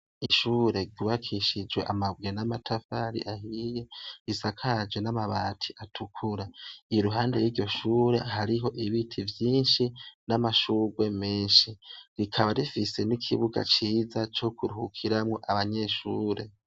Ishure riwakishijwe amabwe n'amatafari ahiye risakaje n'amabati atukura iyi ruhande y'iryoshure hariho ibiti vyinshi n'amashurwe menshi rikaba rifise n'ikibuga ciza co kurhukiramwo abanyeshure.